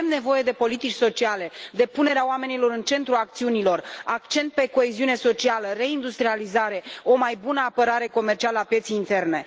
Avem nevoie de politici sociale, de punerea oamenilor în centrul acțiunilor, accent pe coeziune socială, reindustrializare, o mai bună apărare comercială a pieței interne.